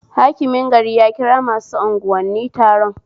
Hakimin gari ya kira masu anguwanni taron